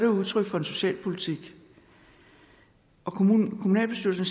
udtryk for en socialpolitik og kommunalbestyrelsen